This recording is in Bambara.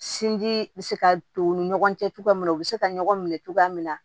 Sinji bɛ se ka to u ni ɲɔgɔn cɛ cogoya min na u bɛ se ka ɲɔgɔn minɛ cogoya min na